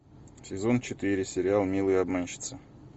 сезон четыре сериал милые обманщицы